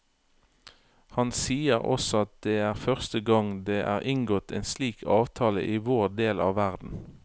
Han sier også at det er første gang det er inngått en slik avtale i vår del av verden.